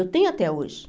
Eu tenho até hoje.